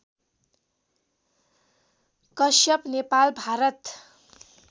Kashyap Nepal Bharat